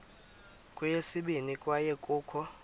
kweyesibini kwaye kukho